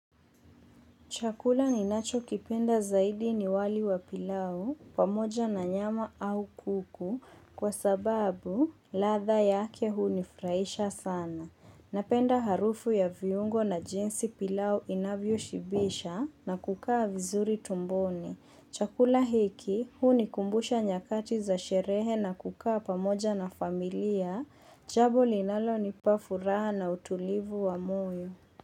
Chakula ninachokipenda zaidi ni wali wa pilau pamoja na nyama au kuku kwa sababu ladha yake hunifurahisha sana. Napenda harufu ya viungo na jinsi pilau inavyoshibisha na kukaa vizuri tumboni. Chakula hiki hunikumbusha nyakati za sherehe na kukaa pamoja na familia Jambo linalonipa furaha na utulivu wa moyo.